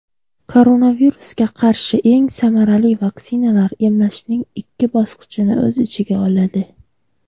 Koronavirusga qarshi eng samarali vaksinalar emlashning ikki bosqichini o‘z ichiga oladi.